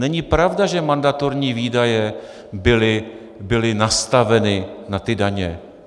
Není pravda, že mandatorní výdaje byly nastaveny na ty daně.